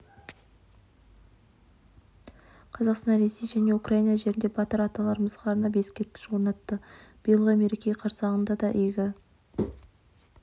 қазақстан ресей және украина жерінде батыр аталарымызға арнап ескерткіш орнатты биылғы мереке қарсаңында да игі